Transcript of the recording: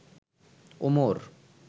Omar